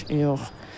Boş yox.